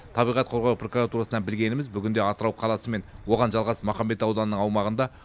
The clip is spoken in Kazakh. табиғат қорғау прокуратурасынан білгеніміз бүгінде атырау қаласы мен оған жалғас махамбет ауданының аумағында